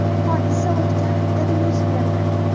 Hodisa o‘tgan haftada yuz berdi.